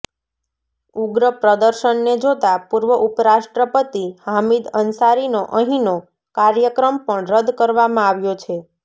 ઉગ્રપ્રદર્શનને જોતા પૂર્વ ઉપરાષ્ટ્રપતિ હામિદ અંસારીનો અહીનો કાર્યક્રમ પણ રદ્દ કરવામાં આવ્યો છે